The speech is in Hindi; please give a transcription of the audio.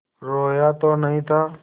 रोया तो नहीं था